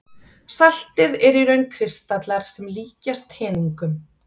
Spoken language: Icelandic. Saltið er í raun kristallar sem líkjast teningum.